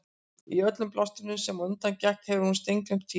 Í öllu bjástrinu sem á undan gekk hafði hún steingleymt Týra.